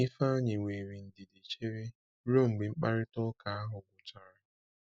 Ifeanyị were ndidi chere ruo mgbe mkparịta ụka ahụ gwụchara.